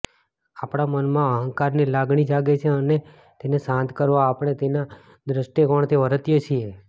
આપણા મનમાં અહંકારની લાગણી જાગે છે અને તેને શાંત કરવા આપણે તેના દ્રષ્ટિકોણથી વર્તીએ છીએ